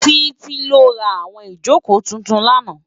Titi lò rá áwòn ijókó tútún làná